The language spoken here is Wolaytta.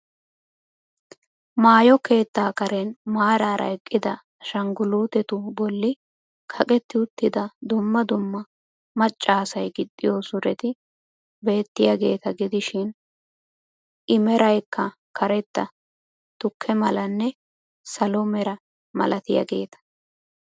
Maayo keettaa kareen maarara eqqida ashangulutetu bolli kaqetti uttida dumma dumma macca asay gixxiyo suretti bettiyaageeta gidishshiin i meraykka karetta, tukke malanne salo mera malatiyaageeta.